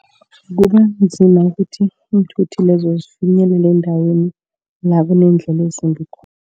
Kubanzima ukuthi iinthuthi lezo zifinyelela endaweni la kuneendlela ezimbi khona.